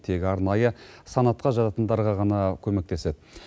тек арнайы санатқа жататындарға ғана көмектеседі